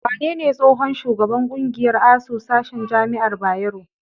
Wanene tsohon shugaban ƙungiyar ASUU, sashen jama'ar Bayero?